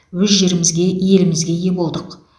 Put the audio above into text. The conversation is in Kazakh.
өз жерімізге елімізге ие болдық